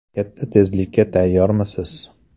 Katta tezlikka tayyormisiz?